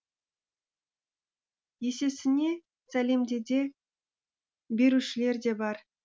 есесіне сәлемдеме берушілер де бар